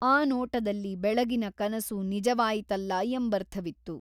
ಆ ನೋಟದಲ್ಲಿ ಬೆಳಗಿನ ಕನಸು ನಿಜವಾಯಿತಲ್ಲಾ ಎಂಬರ್ಥವಿತ್ತು.